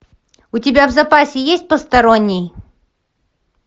у тебя в запасе есть посторонний